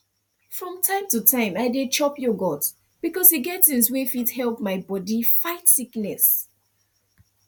from time to time i dey chop yogurt because e get things wey fit help my body fight sickness